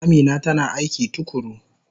Amina tana aiki tukuru.